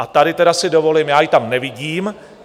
A tady si tedy dovolím - já ji tam nevidím.